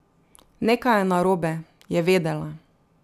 Nekaj je narobe, je vedela.